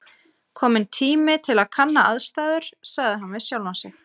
Kominn tími til að kanna aðstæður sagði hann við sjálfan sig.